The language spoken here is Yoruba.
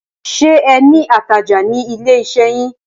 Ṣé ẹ ní atajà ní ilé iṣẹ́ yín?